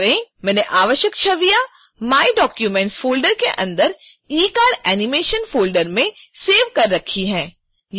मैंने आवश्यक छवियाँ my documents फ़ोल्डर के अंदर ecardanimation folder में सेव कर रखी हैं